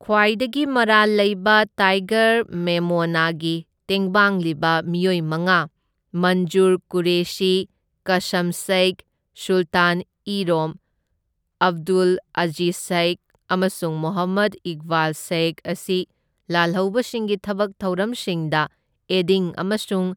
ꯈ꯭ꯋꯥꯏꯗꯒꯤ ꯃꯔꯥꯜ ꯂꯩꯕ ꯇꯥꯏꯒꯔ ꯃꯦꯃꯣꯅꯒꯤ ꯇꯦꯡꯕꯥꯡꯂꯤꯕ ꯃꯤꯑꯣꯏ ꯃꯉꯥ, ꯃꯟꯖꯨꯔ ꯀꯨꯔꯦꯁꯤ, ꯀꯁꯝ ꯁꯩꯈ, ꯁꯨꯜꯇꯥꯟ ꯏ ꯔꯣꯝ, ꯑꯥꯕꯗꯨꯜ ꯑꯖꯤꯖ ꯁꯩꯈ ꯑꯃꯁꯨꯡ ꯃꯣꯍꯝꯃꯗ ꯏꯛꯕꯥꯜ ꯁꯩꯈ ꯑꯁꯤ ꯂꯥꯜꯍꯧꯕꯁꯤꯡꯒꯤ ꯊꯕꯛ ꯊꯧꯔꯝꯁꯤꯡꯗ ꯑꯦꯗꯤꯡ ꯑꯃꯁꯨꯡ